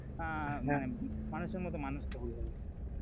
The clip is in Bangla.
আহ মানুষের মতন মানুষ হতে হবে,